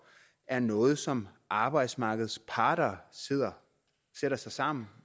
er noget som arbejdsmarkedets parter sætter sig sammen